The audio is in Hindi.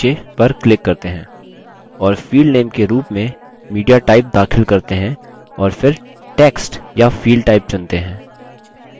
और field name के रूप में mediatype दाखिल करते हैं और फिर text या field type चुनते हैं